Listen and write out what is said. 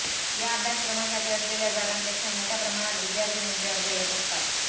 या अभ्यासक्रमासाठी असलेल्या जागांपेक्षा मोठ्या प्रमाणात विद्यार्थिनींचे अर्ज येत असतात